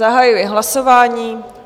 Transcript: Zahajuji hlasování.